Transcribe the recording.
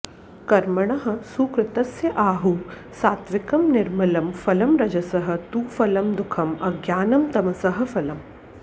कर्मणः सुकृतस्य आहुः सात्त्विकं निर्मलं फलम् रजसः तु फलं दुःखम् अज्ञानं तमसः फलम्